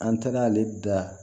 An taara'ale da